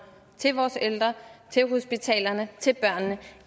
til vores ældre til hospitalerne til børnene